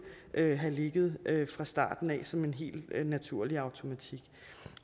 have have ligget fra starten af som en helt naturlig automatik